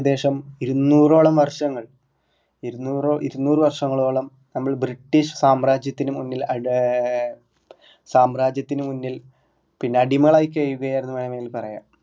ഏകദേശം ഇരുന്നൂറോളം വർഷങ്ങൾ ഇരുന്നൂർ ഇരുന്നൂറ് വര്ഷങ്ങളോളം നമ്മൾ ബ്രിട്ടീഷ് സാമ്രാജ്യത്തിനു മുന്നിൽ അഡ് ഏർ സാമ്രാജ്യത്തിനു മുന്നിൽ പിന്നാ അടിമകളായി ചെയ്തർന്നു വേണെങ്കിൽ പറയാം